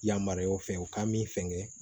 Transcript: Yamaruyaw fɛ u ka min fɛngɛ